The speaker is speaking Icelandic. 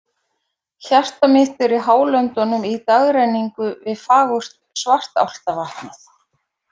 Hjarta mitt er í Hálöndunum í dagrenningu við fagurt Svartálftavatnið.